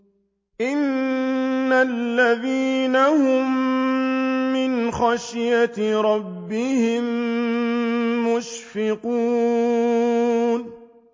إِنَّ الَّذِينَ هُم مِّنْ خَشْيَةِ رَبِّهِم مُّشْفِقُونَ